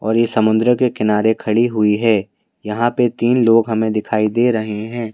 और ये समुद्र के किनारे खड़ी हुई है यहाँ पर तीन लोग हमें दिखाई दे रहे हैं।